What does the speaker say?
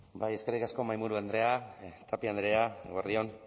bai eskerrik asko mahaiburu andrea tapia andrea eguerdi on